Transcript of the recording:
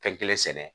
Fɛn kelen sɛnɛ